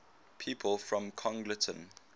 people from congleton